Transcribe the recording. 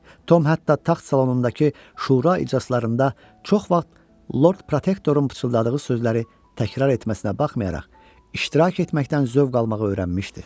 Tom hətta taxt salonundakı şura iclaslarında çox vaxt Lord Protektorun pıçıldadığı sözləri təkrar etməsinə baxmayaraq, iştirak etməkdən zövq almağı öyrənmişdi.